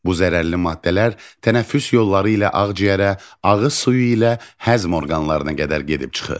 Bu zərərli maddələr tənəffüs yolları ilə ağciyərə, ağız suyu ilə həzm orqanlarına qədər gedib çıxır.